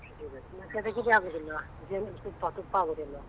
ಹಾಕುದಿಲ್ವಾ ಜೇನು ತುಪ್ಪ ತುಪ್ಪ ಹಾಕುದಿಲ್ವಾ